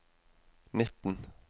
nitten